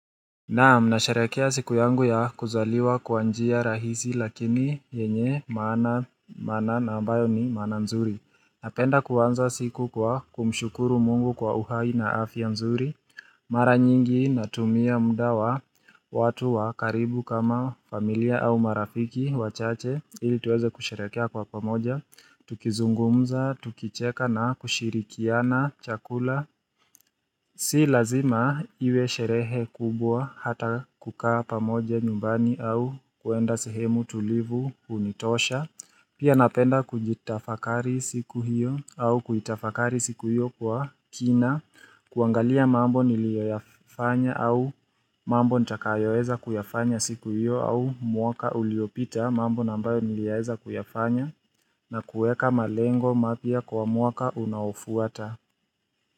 Naam, nasherehekea siku yangu ya kuzaliwa kwa njia rahisi lakini yenye maana, maana ambayo ni maana nzuri. Napenda kuanza siku kwa kumshukuru Mungu kwa uhai na afya nzuri Mara nyingi natumia muda wa watu wakaribu kama familia au marafiki wachache ili tuweze kusherehekea kwa pamoja, tukizungumza, tukicheka na kushirikiana, chakula Si lazima iwe sherehe kubwa, hata kukaa pamoja nyumbani au kwenda sehemu tulivu hunitosha. Pia napenda kujitafakari siku hiyo, au kuitafakari siku hiyo kwa kina. Kuangalia mambo niliyoyafanya au mambo nitakayoweza kuyafanya siku hiyo au mwaka uliopita mambo na ambayo niliyaweza kuyafanya, na kuweka malengo mapya kwa mwaka unaofuata.